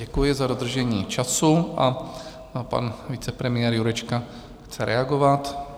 Děkuji za dodržení času a pan vicepremiér Jurečka chce reagovat.